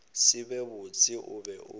se be botse o be